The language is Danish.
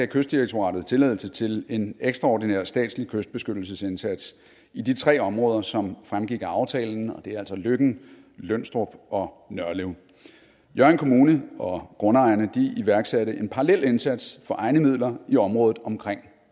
kystdirektoratet tilladelse til en ekstraordinær statslig kystbeskyttelsesindsats i de tre områder som fremgik af aftalen og det er altså løkken lønstrup og nørlev hjørring kommune og grundejerne iværksatte en parallel indsats for egne midler i området omkring